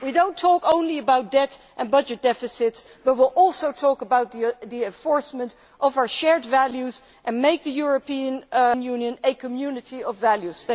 We will not talk only about debt and budget deficits but will also talk about the enforcement of our shared values and make the European Union a community of values.